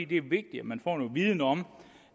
det er vigtigt at man får noget viden om